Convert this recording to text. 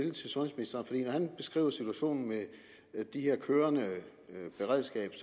det så vidt jeg han beskriver situationen med det her kørende beredskab